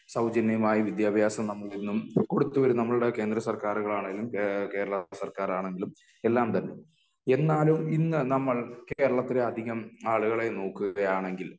സൗജന്യമായ വിദ്യാഭ്യാസം നമ്മളിന്നും കൊടുത്ത് നമ്മുടെ കേന്ദ്ര സർക്കാരാണെങ്കിലും കേരള സർകാറുകളാണെങ്കിലും എല്ലാം തന്നെ എന്നാലും ഇന്ന് നമ്മൾ കേരളത്തിലെ അധികം ആളുകളേം നാക്കുകയാണെങ്കിൽ